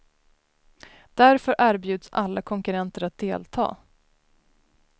Därför erbjuds alla konkurrenter att delta.